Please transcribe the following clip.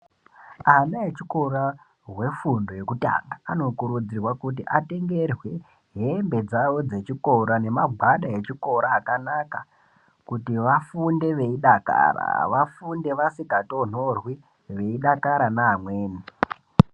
Ana echikora hwefundo yekutanga anokurudzirwa kuti atengerwe hembe dzawo dzechikora nemagwada echikora akanaka kuti vafunde veidakara, vafunde vasika tonhorwi veyidakara neamweni.